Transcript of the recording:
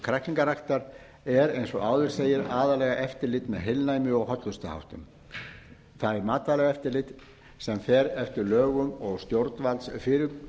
kræklingaræktar er eins og áður segir aðallega eftirlit með heilnæmi og hollustuháttum það er matvælaeftirlitið sem fer eftir lögum og stjórnvaldsfyrirmælum